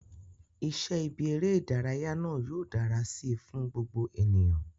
Iṣẹ́ ibi eré ìdárayá náà yóò dára si fún gbogbo ènìyàn